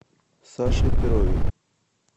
саше перове